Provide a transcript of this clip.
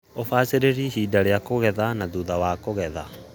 UBACIRIRI HINDI YA KUGETHA NA THUTHA WA KUGETHA